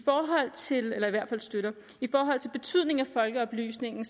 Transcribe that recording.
hvert fald støtter i forhold til betydningen af folkeoplysningen